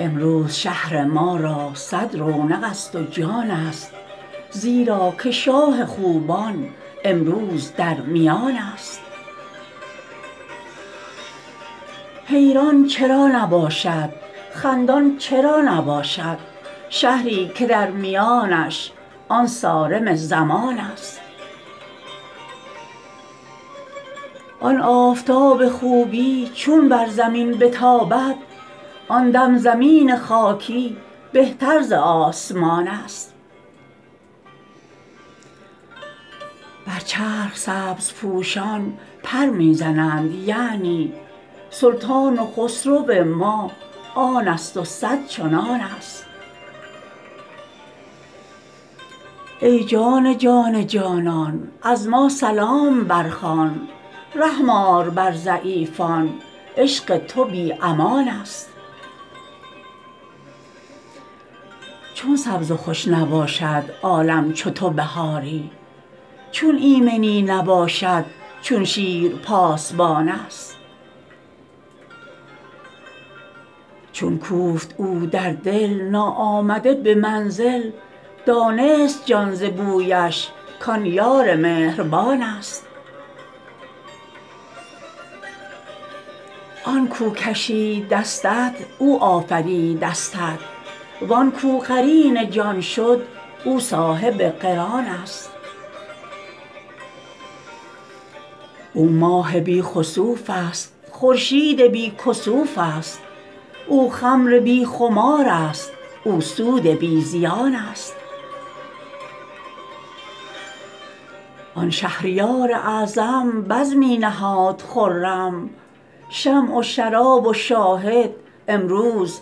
امروز شهر ما را صد رونق ست و جانست زیرا که شاه خوبان امروز در میانست حیران چرا نباشد خندان چرا نباشد شهری که در میانش آن صارم زمانست آن آفتاب خوبی چون بر زمین بتابد آن دم زمین خاکی بهتر ز آسمانست بر چرخ سبزپوشان پر می زنند یعنی سلطان و خسرو ما آن ست و صد چنانست ای جان جان جانان از ما سلام برخوان رحم آر بر ضعیفان عشق تو بی امانست چون سبز و خوش نباشد عالم چو تو بهاری چون ایمنی نباشد چون شیر پاسبانست چون کوفت او در دل ناآمده به منزل دانست جان ز بویش کان یار مهربانست آن کو کشید دستت او آفریده استت وان کو قرین جان شد او صاحب قرانست او ماه بی خسوف ست خورشید بی کسوف ست او خمر بی خمارست او سود بی زیانست آن شهریار اعظم بزمی نهاد خرم شمع و شراب و شاهد امروز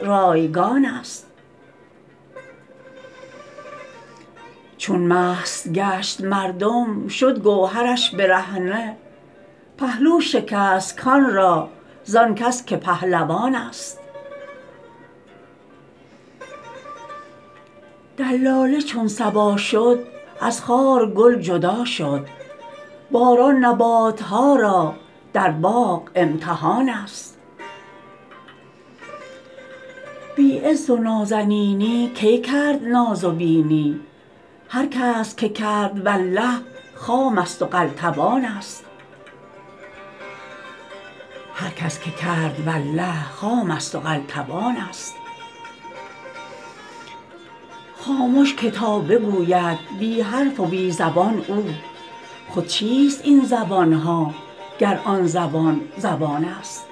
رایگانست چون مست گشت مردم شد گوهرش برهنه پهلو شکست کان را زان کس که پهلوانست دلاله چون صبا شد از خار گل جدا شد باران نبات ها را در باغ امتحانست بی عز و نازنینی کی کرد ناز و بینی هر کس که کرد والله خام ست و قلتبانست خامش که تا بگوید بی حرف و بی زبان او خود چیست این زبان ها گر آن زبان زبانست